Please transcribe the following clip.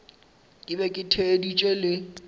ke be ke theeditše le